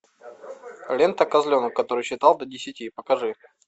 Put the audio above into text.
лента козленок который считал до десяти